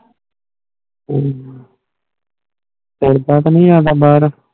ਹੱਮ ਐਡਾ ਤਾਣੀ ਆਂਦਾ ਬਾਰ